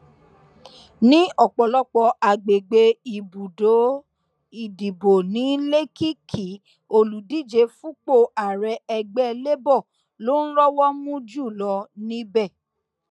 ní ọpọlọpọ àgbègbè ibùdó ìdìbò ní lèkìkì olùdíje fúnpò ààrẹ ẹgbẹ labour ló ń rọwọ mú jù lọ níbẹ